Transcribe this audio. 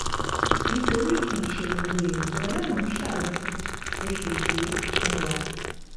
nítorí kì í ṣe gbogbo èèyàn ni ọlọrun ń ṣàánú fún bó ṣe ṣe é fún wa